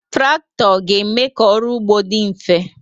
Traktọ ga-eme ka ọrụ ugbo dị mfe